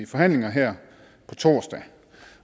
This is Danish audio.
forhandlinger her på torsdag